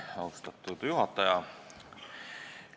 Austatud juhataja!